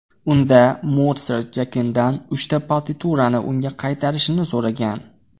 Unda Motsart Jakendan uchta partiturani unga qaytarishni so‘ragan.